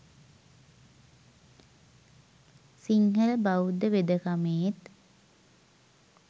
සිංහල බෞද්ධ වෙදකමේත්